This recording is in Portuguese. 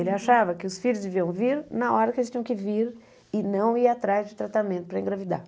Ele achava que os filhos deviam vir na hora que eles tinham que vir e não ir atrás de tratamento para engravidar.